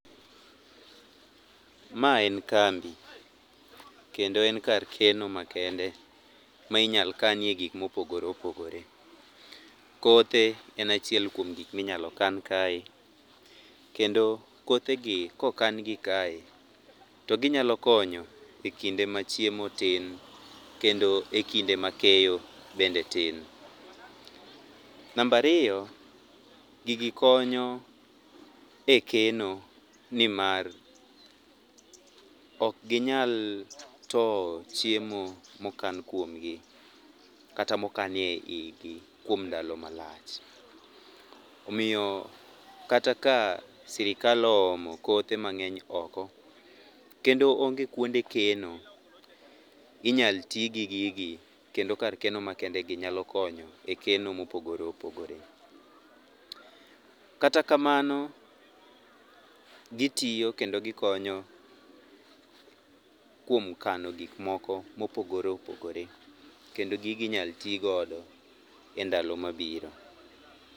Mae en kambi. Kendo en kar keno makende ma inyal kanie gik mopogore opogore. Kothe en achiel kuom gik minyalo kan kae. Kendo kothegi kokangi kae toginyalo konyo ekinde machiemo tin kendo ekinde makeyo bende tin. Namba riyo, gigi konyo ekeno nimar ok ginyal towo chiemo mokan kuomgi kata mokanie eigi kuom ndalo malach. Omiyo kata ka sirikal oomo kothe mang'eny oko kendo onge kuonde keno inyal tii gi gi kendo kar keno makende nyalo konyo ekeno mopogore opogore. Kata kamano gitiyo kendo gikonyo kuom kano gik moko mopogore opogore kendo gigi inyal ti godo endalo mabiro.